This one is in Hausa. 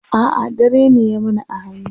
a'a dare ne ya mana a hanya